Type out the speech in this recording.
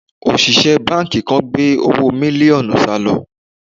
Òṣìṣẹ́ báńkì kan gbé owó mílíọ̀nù sálò